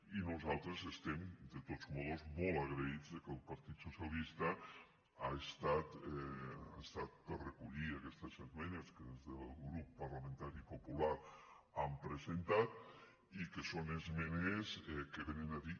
i nosaltres estem de totes maneres molt agraïts que el partit socialista ha estat per reco·llir aquestes esmenes que des del grup parlamentari popular hem presentat i que són esmenes que vénen a dir